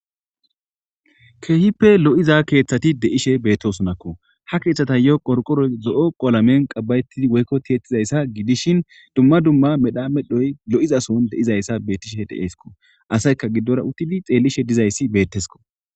Keehippe lo'iza keeththati de'ishe bettosonakko ha keeththata yo'o qorqoroy zo'o qolamen qabbayetti woykko tiiyettizayssa gidishin dumma dumma medha medhoy lo7izason de7izayssa bettishe deeesko asayka giddora uttidi xeellishe dizayssi beettesko.